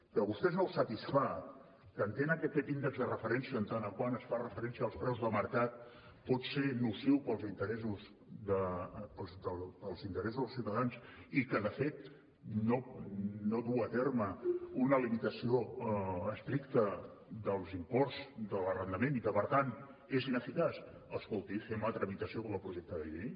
que a vostès no els satisfà que entenen que aquest índex de referència en tant que es fa referència als preus de mercat pot ser nociu per als interessos dels ciutadans i que de fet no du a terme una limitació estricta dels imports de l’arrendament i que per tant és ineficaç escolti fem la tramitació com a projecte de llei